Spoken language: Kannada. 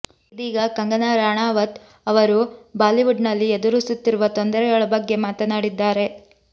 ಇದೀಗ ಕಂಗನಾ ರಣಾವತ್ ಅವರು ಬಾಲಿವುಡ್ನಲ್ಲಿ ಎದುರಿಸುತ್ತಿರುವ ತೊಂದರೆಗಳ ಬಗ್ಗೆ ಮಾತನಾಡಿದ್ಧಾರೆ